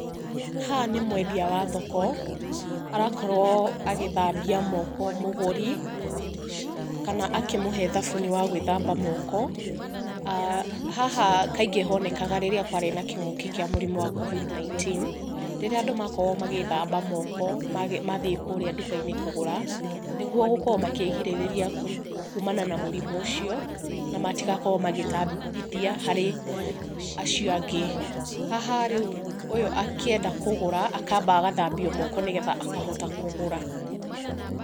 Haha nĩ mwendia wa thoko arakorwo agĩthambia moko mũgũri, kana akĩmũhe thabuni wa gwĩthamba moko. Haha kaingĩ honekaga rĩrĩa kwarĩ na kĩng'ũki kĩa mũrimũ wa Covid 19. Rĩrĩa andũ makoragwo magĩĩthamba moko mathiĩ kũrĩa nduka-inĩ kũgũra. Nĩguo gũkorwo makĩĩrigĩrĩria kumana na mũrimũ ũcio na matigakorwo magĩtambithia harĩ acio angĩ. Haha rĩu ũyũ akĩenda kũgũra akamba agathambio moko, nĩgetha akahota kũgũra.